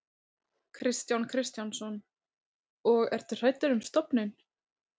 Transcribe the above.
Kristján Kristjánsson: Og ertu hræddur um stofninn?